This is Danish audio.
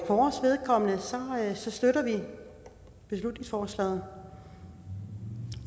vores vedkommende støtter vi beslutningsforslaget